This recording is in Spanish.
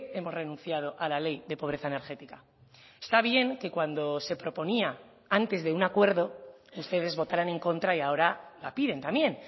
hemos renunciado a la ley de pobreza energética está bien que cuando se proponía antes de un acuerdo ustedes votaran en contra y ahora la piden también